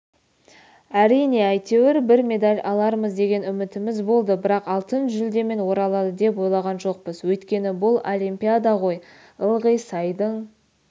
әрине әйтеуір бір медаль алармыз деген үмітіміз болды бірақ алтын жүлдемен оралады деп ойлаған жоқпыз өйткені бұл олимпиада ғой ылғи сайдың